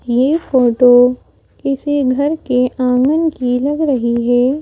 ये फोटो किसी घर के आंगन की लग रही है।